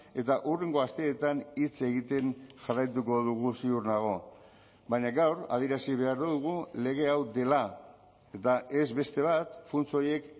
eta hurrengo asteetan hitz egiten jarraituko dugu ziur nago baina gaur adierazi behar dugu lege hau dela eta ez beste bat funts horiek